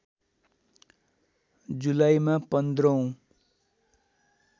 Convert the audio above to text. जुलाईमा १५ औं